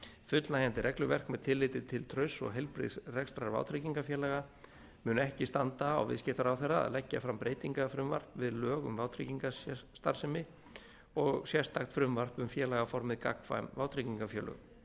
fullnægjandi regluverk með tilliti til trausts og heilbrigðs reksturs vátryggingafélaga mun ekki standa á viðskiptaráðherra að leggja fram breytingafrumvarp við lög um vátryggingastarfsemi og sérstakt frumvarp um félagaformið gagnkvæm vátryggingafélög